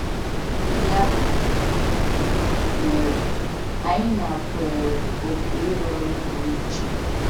Ya mere, anyị nakweere òkù ịrụ ọrụ pụrụ iche.